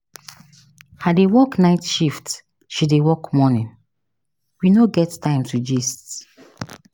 I dey work night shift, she dey work morning. We no get time to gist.